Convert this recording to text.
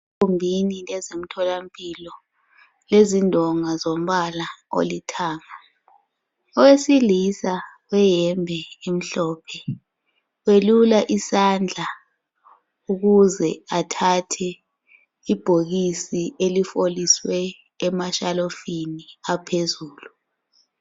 Ezomthola mpilo Iezindonga zombala olithanga owesilisa oleyembe emhlophe uyelula isandla ukuze athathe ibhokisi elifoliswe emashelufini aphezulu.